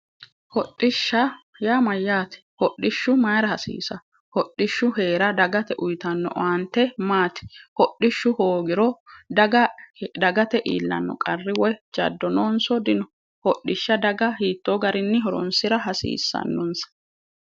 Hodhishsha yaa mayyaate? Hodhishshu mayira hasiisawo? Hodhishshu dagate uyitanno owaante maate? Hodhishshu hoogiro dagate iillanno qarri woyi jaddo noonso dino? Hodhishsha daga hiittoo garinni horoonsira hasiissannonsa?